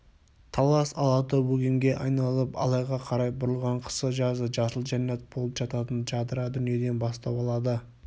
талас алатау өгемге айналып алайға қарай бұрылған қысы-жазы жасыл жәннат болып жататын жадыра дүниеден бастау алады